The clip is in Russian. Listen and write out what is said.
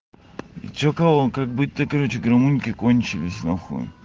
че каво как быть то короче гамунки кончились нахуй